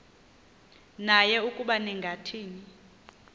naye ukuba ningathini